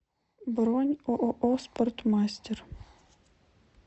бронь ооо спортмастер